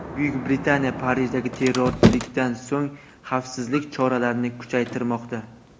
Buyuk Britaniya Parijdagi terrorchilikdan so‘ng xavfsizlik choralarini kuchaytirmoqda.